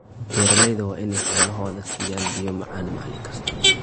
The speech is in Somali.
Beeralayda waa inay xoolahooda siiyaan biyo macaan maalin kasta.